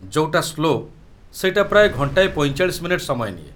ଯଉଟା ସ୍ଲୋ ସେଇଟା ପ୍ରାୟ ଘଣ୍ଟାଏ ୪୫ ମିନିଟ୍ ସମୟ ନିଏ ।